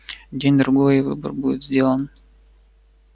день-другой и выбор будет сделан